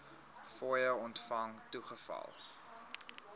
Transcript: fooie ontvang toegeval